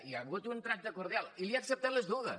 hi ha hagut un tracte cordial i li he acceptat les dues